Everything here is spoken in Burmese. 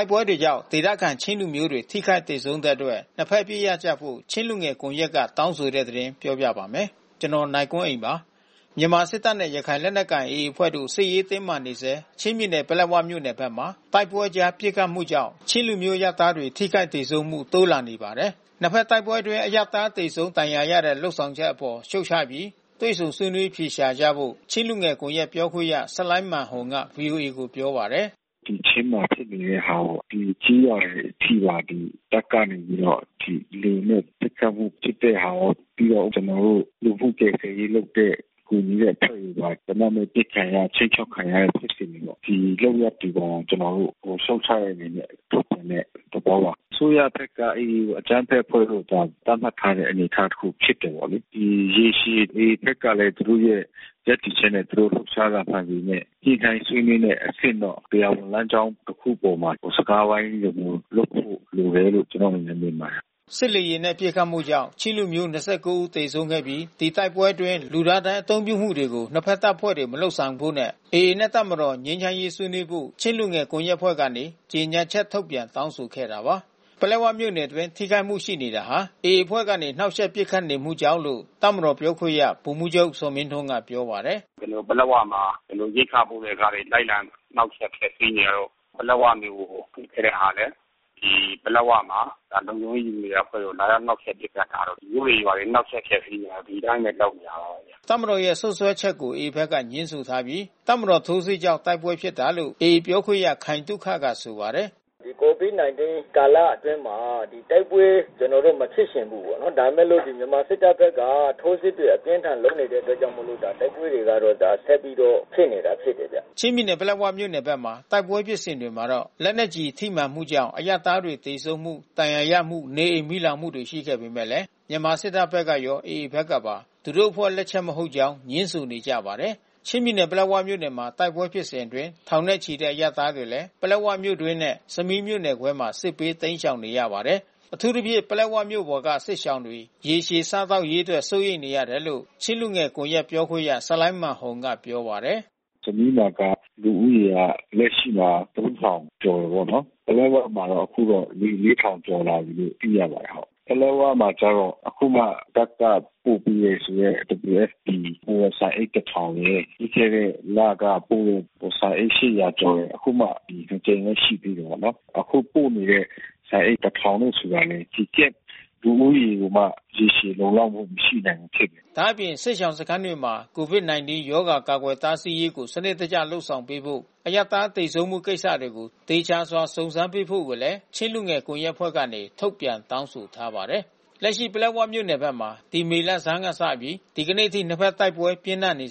ုက်ပွဲတွေကြောင့် ဒေသခံချင်းလူမျိုးတွေ ထိခိုက်သေဆုံးတဲ့အတွက် နှစ်ဘက် အပစ်ရပ်ကြဖို့ ချင်းလူငယ်ကွန်ရက်က တောင်းဆိုတဲ့သတင်း နိုင်ကွန်းအိန်ပြောပြမှာပါ။ မြန်မာစစ်တပ်နဲ့ ရခိုင်လက်နက်ကိုင်AAအဖွဲ့တို့ စစ်ရေးတင်းမာနေဆဲ ချင်းပြည်နယ်၊ ပလက်ဝမြို့နယ်ဘက်မှာ တိုက်ပွဲ အကြားပစ်ခတ်မှုကြောင့် ချင်းလူမျိုးတွေ အရပ်သားတွေ ထိခိုက်သေဆုံးမှု တိုးလာနေပါတယ်။ နှစ်ဖက်တိုက်ပွဲအတွင်း အရပ်သား သေဆုံးဒဏ်ရာရတဲ့ လုပ်ဆောင်ချက် အပေါ်ရှုံ့ချပြီး တွေ့ဆုံဆွေးနွေး အဖြေရှာကြဖို့ ချင်းလူငယ်ကွန်ရက်ပြောခွင့်ရ ဆလိုင်းမာန်ဟုန်က VOA ကို ပြောပါတယ်။ “ဒီချင်းမှာ ဖြစ်နေတဲ့ဟာပေါ့။ ဒီကျေးရွာတွေအထိပါ တပ်ကနေပြီးတော့ လေယာဉ်နဲ့ပစ်ခတ်တဲ့ဟာရော ပြီးတော့ကျွန်တော် တို့လူမှုကယ်ဆယ်ရေးလုပ်တဲ့ ကူညီရေးအဖွဲ့တွေပါ သေနတ်နဲ့အပစ်ခံရ ခြိမ်းခြောက်ခံရတဲ့ဖြစ်စဉ်တွေပေါ့။ ဒီလုပ်ရပ် တွေပါ ကျွန်တော်တို့ရှုံ့ချတဲ့အနေနဲ့ ထုတ်ပြန်တဲ့သဘောပါ။ အစိုးရဘက်က AAကိုအကြမ်းဖက်အဖွဲ့လို့သာ သတ်မှတ် ထားတဲ့ အနေအထားတခု ဖြစ်တယ်ပေါ့လေ။ ဒီရေရှည်AAဘက်ကလဲသူတို့ရဲ့ ရပ်တည်ချက်နဲ့သူတို့လှုပ်ရှားတာမှန်ပေမဲ့ ညှိနှိုင်းဆွေးနွေးမယ့် အဆင့်တော့ တရားဝင်လမ်းကြောင်းတခုအပေါ်မှာ စကားဝိုင်းလိုမျိုးလုပ်ဖို့လိုတယ်လို့ ကျွန်တော်တို့ အနေနဲ့ မြင်ပါတယ်။” စစ်လေယာဉ်နဲ့ပစ်ခတ်မှုကြောင့် ချင်းလူမျိုး ၂၉ ဦးသေဆုံးခဲ့ပြီး၊တိုက်ပွဲအတွင်း လူသားဒိုင်း အသုံးပြုမှုတွေကို နှစ်ဘက်တပ်ဖွဲ့တွေ မလုပ်ဆောင်ဖို့နဲ့AA နှင့်တပ်မတော် ငြိမ်းချမ်းရေး ဆွေးနွေးဖို့ ချင်းလူငယ်ကွန်ရက် အဖွဲ့ကနေ ကြေညာချက်ထုတ်ပြန် တောင်းဆိုခဲ့တာပါ။ ပလက်ဝမြို့နယ်အတွင်း ထိခိုက်မှုရှိနေတာဟာ AAအဖွဲ့ကနေ နှောက်ယှက်ပစ်ခတ်မှုကြောင့်လို့ တပ်မတော်ပြောခွင့်ရ ဗိုလ်မှူးချုပ် ဇော်မင်းထွန်းကပြောပါတယ်။ “ကျွန်တော်တို့ပလက်ဝမှာ ရိက္ခာပို့တဲ့ကားတွေကို လိုက်လံနှောက်ယှက်ဖျက်စီးနေတာတို့ ပလက်ဝမြေကို ပစ်ခဲ့တဲ့ဟာလဲဒီပလက်ဝမှာ လုံခြုံရေးယူနေတဲ့အဖွဲ့ကို လာရောက် နှောက်ယှက်ပစ်ခတ်တာတို့ မြို့တွေရွာတွေနှောက်ယှက်ဖျက်စီး နေ တာတို့ ဒီအတိုင်းဘဲ လုပ်နေတာပါဘဲ။” တပ်မတော်ရဲ့စွပ်စွဲချက်ကိုAAဘက်ကငြင်းဆိုထားပြီး တပ်မတော်ထိုးစစ်ကြောင့်တိုက်ပွဲဖြစ်တာလို့ AAပြောခွင့်ရ ခိုင်သုခ ကဆိုပါတယ်။ “ဒီ COVIDကာလအတွင်းမှာ တိုက်ပွဲ ကျွန်တော်တို့မဖြစ်ချင်ဘူးပေါ့နော်။ ဒါပေမဲ့လို့ မြန်မာစစ်တပ်ဘက်က ထိုးစစ်တွေ အပြင်းအထန်လုပ်နေတဲ့အတွက်ကြောင့်မို့လို့ တိုက်ပွဲတွေကဆက်ပြီးတော့ ဖြစ်နေတာဖြစ်တယ်ဗျ။” ချင်းပြည်နယ်ပလက်ဝမြို့နယ်ဘက်မှာ တိုက်ပွဲဖြစ်စဉ်တွေမှာ လက်နက်ကျည်ထိမှန်မှုကြောင့် အရပ်သားတွေ သေဆုံးမှု ဒဏ်ရာရမှု နေအိမ်မီလောင်မှုတွေရှိခဲ့ပေမဲ့ မြန်မာစစ်တပ်ဘက်ကရော AAဖက်ကပါ သူတို့အဖွဲ့လက်ချက်မဟုတ် ကြောင်းငြင်းဆိုနေကြပါတယ်။ ချင်းပြည်နယ်၊ ပလက်ဝမြို့နယ်ဖက်မှာ တိုက်ပွဲဖြစ်စဉ်အတွင်း ထောင်နဲ့ချီတဲ့အရပ်သားတွေလဲ ပလက်ဝမြို့အတွင်းနဲ့ ဆမီးမြို့နယ်ခွဲမှာ စစ်ဘေးတိမ်းရှောင်နေရပါတယ်။ အထူးသဖြင့် ပလက်ဝမြို့ပေါ်က စစ်ရှောင်တွေရေရှည် စားသောက်ရေးအတွက် စိုးရိမ်နေရတယ်လို့ ချင်းလူငယ်ကွန်ရက် ပြောခွင့်ရ ဆလိုင်းမာန်ဟုန်က ပြောပါတယ်။ “ဆမီးမှာက လက်ရှိမှာ ကျော်တာပေါ့နော်။ ပလက်ဝမှာတော့ အခုတော့ ကျော် လာပြီလို့ သိရပါတယ်။ ပလက်ဝမှာကျတော့ အခုမှ တပ်ကပို့ပေးတယ်ဆိုတဲ့ WFPပို့တဲ့ ဆန်အိတ် ရယ်။ ပြီးခဲ့တဲ့လက ပို့တဲ့ ဆန်အိတ် ကျော်ရယ် အခုမှနှစ်ကြိမ်ဘဲ ရှိသေးတယ်ပေါ့နော်။ အခုပို့နေတဲ့ဆန်အိတ် တို့ဆိုတာကလဲ ဒီCamp လူဦးရေကိုမှ ရေရှည်လုံလောက်မှု မရှိဘူးဖြစ်နေတာပေါ့။” ဒါ့အပြင် စစ်ရှောင်စခန်းတွေမှာ COVID-19 ရောဂါကာကွယ်တားဆီးရေးကို စနစ်တကျ လုပ်ဆောင်ပေးဖို့ အရပ်သား သေဆုံးမှုကိစ္စတွေကို သေချာစွာ စုံစမ်းပေးဖို့ကို ချင်းလူငယ်ကွန်ရက်အဖွဲ့ကနေ ထုတ်ပြန်တောင်းဆိုထားပါတယ်။ လက်ရှိပလက်ဝမြို့နယ်ဘက်မှာ ဒီမေလဆန်းကစပြီး ဒီကနေ့အထိ နှစ်ဘက်တိုက်ပွဲပြင်းထန်နေ